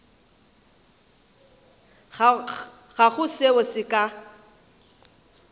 ga go seo se ka